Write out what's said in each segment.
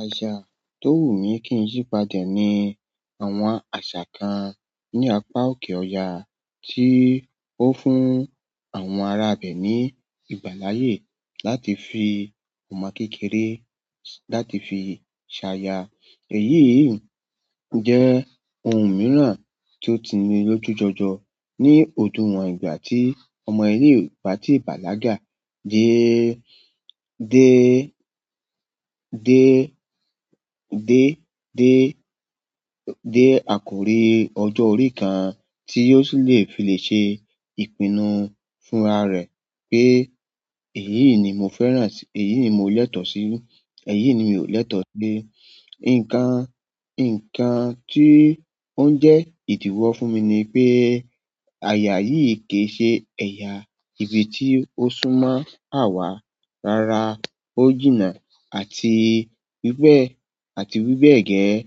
Àṣà tó wù mí kí n yípadà ni àwọn àṣà kan ní apá òkè ọya tí ó fún àwọn ará abẹ ní ìgbàláyé láti fi ọmọ kékeré láti fi ṣaya. Èyí jẹ́ ohun mìíràn tí ó ti ní lójú jọjọ ní ojú won ìgbà tí ọmọ ilé ìgbátí bàlágà dé, dé, dé, dé, dé, dé àkórí ọjọ́ orí kan tí yóò sì le fi lè ṣe ìpinnu fún ara rẹ̀ pé èyí ni mo fẹ́ràn, èyí ni mo lẹ́tọ̀ọ́ sí, èyí ni mi ò lẹ́tọ̀ọ́ sí. Nkan nkan ti on je idiwo fún mi nipe aya yi ki n se eya ibi ti osumo awa rara, ó jìnnà àti wí bẹ́ẹ̀, àti wí bẹ́ẹ̀ gẹ́ẹ́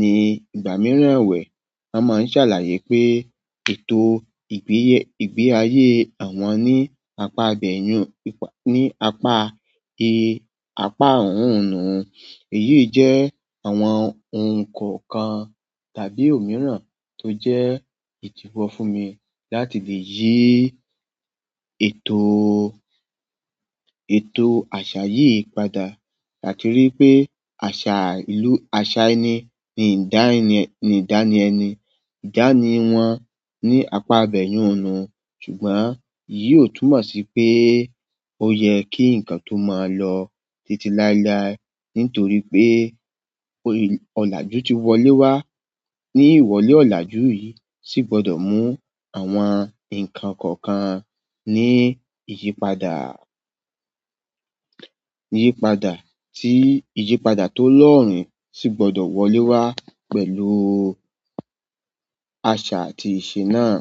ní ìgbà mìíràn wẹ̀. Wọ́n máa ń ṣàlàyé pé ètò ìgbéayé àwọn ní apá abẹ̀yìn ní apá yí, apá òòrun. Èyí jẹ́ àwọn ohun kọ̀ọ̀kan tàbí òmíràn tó jẹ́ ìdíwọ́ fún mi láti lè yí ètò, ètò àṣà yìí padà. Látirí pé àṣà ìlú, àṣà ẹni ni ìdánilẹ́ni, ìdánì wọn ní apá abẹ̀yun nu. Ṣùgbọ́n yìí ó túmọ̀ sí pé ó yẹ kí ǹkan tó máa lọ títí láéláé nítorí pé ọ̀làjú ti wọlé wá. Ní ìwọlé ọ̀làjú yìí sì gbọdọ̀ mú àwọn ǹkan kọ̀ọ̀kan ní ìyípadà, ìyípadà tí ìyípadà tó lọ́rùn sì gbọdọ̀ wọlé wá pẹ̀lú àṣà àti ìṣe náà.